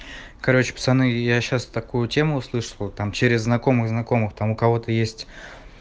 короче пацаны я сейчас такую тему слышал там через знакомых знакомых там у кого-то есть